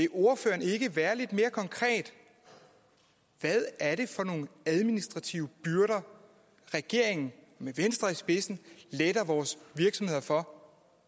ordføreren ikke være lidt mere konkret hvad er det for nogle administrative byrder regeringen med venstre i spidsen letter vores virksomheder for